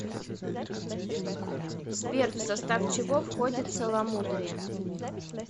сбер в состав чего входит целомудрие